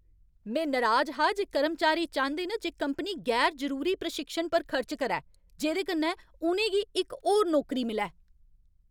में नराज हा जे कर्मचारी चांह्‌दे न जे कंपनी गैर जरूरी प्रशिक्षण पर खर्च करै जेह्‌दे कन्नै उ'नें गी इक होर नौकरी मिलै।